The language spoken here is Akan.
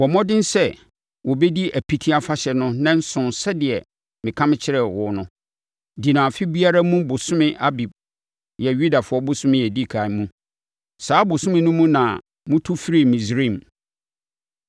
“Bɔ mmɔden sɛ wɔbɛdi Apiti Afahyɛ no nnanson sɛdeɛ meka kyerɛɛ wo no. Di no afe biara mu ɔbosome Abib (Yudafoɔ bosome a ɛdi ɛkan) mu. Saa bosome no mu na motu firii Misraim.